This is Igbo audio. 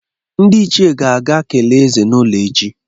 Ndị ichie ga-aga kelee ézè n'ụlọ ya echi.